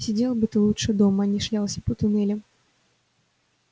сидел бы ты лучше дома а не шлялся по туннелям